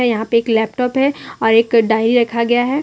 यहां पे एक लैपटॉप है और एक डायरी रखा गया है।